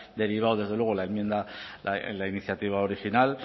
derivado desde luego la enmienda la iniciativa original